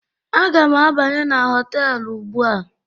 Aga m abanye na họtelu ugbu a